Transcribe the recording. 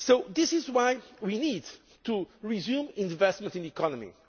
This is why we need to resume investment in the economy.